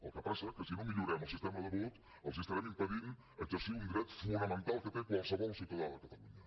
el que passa que si no millorem el sistema de vot els estarem impedint exercir un dret fonamental que té qualsevol ciutadà de catalunya